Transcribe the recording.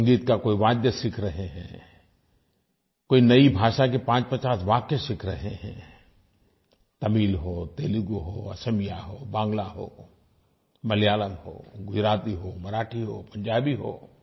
संगीत का कोई वाद्य सीख रहे हैं कोई नई भाषा के 550 वाक्य सीख रहे हैं तमिल हो तेलुगु हो असमिया हो बांगला हो मलयालम हो गुजराती हो मराठी हो पंजाबी हो